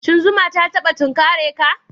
Shin zuma ta taba tunkare ka?